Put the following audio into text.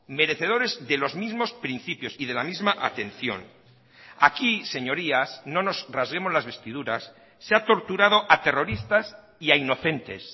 merecedores de los mismos principios y de la misma atención aquí señorías no nos rasguemos las vestiduras se ha torturado a terroristas y a inocentes